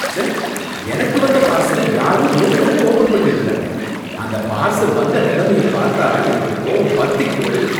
ச்சே! எனக்கு வந்த பார்சல யாரோ ஏற்கனவே ஓபன் பண்ணிருக்காங்க. அந்த பார்சல் வந்த நிலமையை பாத்தா எனக்கு கோவம் பத்திக்கிட்டு வருது.